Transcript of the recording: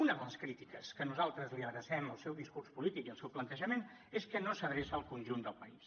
una de les crítiques que nosaltres li adrecem al seu discurs polític i al seu plantejament és que no s’adreça al conjunt del país